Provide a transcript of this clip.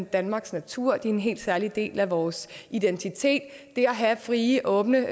danmarks natur og en helt særlig del af vores identitet det at have frie og åbne